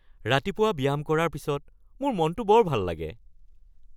ৰাতিপুৱা ব্যায়াম কৰাৰ পিছত মোৰ মনটো বৰ ভাল লাগে